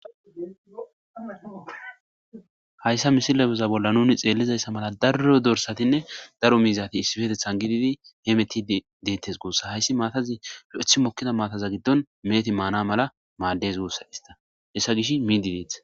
Haysa misileza bolla nun xelizaysa mala daro dorsatinne daro mizati issipetethani gidid hemetid detes guusa, hays matazi lo'eth mokida maata gidon meheti mana mala mades guusa, bes Gish miid detes.